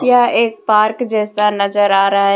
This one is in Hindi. यह एक पार्क जैसा नजर आ रहा है।